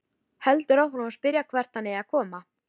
Heldur áfram að spyrja hvert hann eigi að koma.